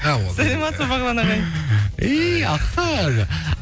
сәлеметсіз бе бағлан ағай